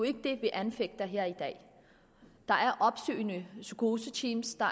ikke det vi anfægter her i dag der er opsøgende psykoseteams der